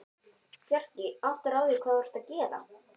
Bjarki, áttarðu á því hvað þú ert að gera?